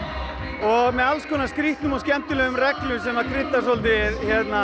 og með alls konar skrýtnum og skemmtilegum reglum sem krydda svolítið